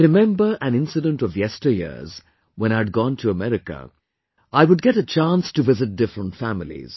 I remember an incident of yesteryears, when I had gone to America, I would get a chance to visit different families